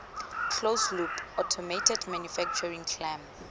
closed loop automated manufacturing clam